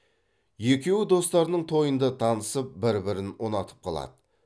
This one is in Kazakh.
екеуі достарының тойында танысып бір бірін ұнатып қалады